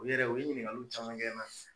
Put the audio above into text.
U yɛrɛ u ye ɲiniŋaliw caman kɛ na